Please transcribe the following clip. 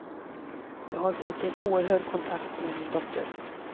Jag har fått en oerhörd kontakt med min dotter.